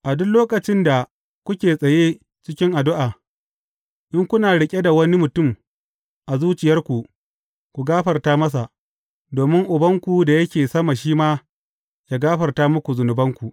A duk lokacin da kuke tsaye cikin addu’a, in kuna riƙe da wani mutum a zuciyarku, ku gafarta masa, domin Ubanku da yake sama shi ma yă gafarta muku zunubanku.